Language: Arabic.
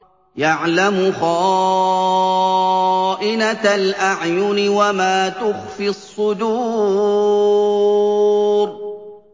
يَعْلَمُ خَائِنَةَ الْأَعْيُنِ وَمَا تُخْفِي الصُّدُورُ